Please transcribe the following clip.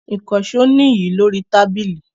Ikànsó ni yi lórí tábìlì